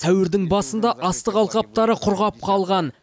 сәуірдің басында астық алқаптары құрғап қалған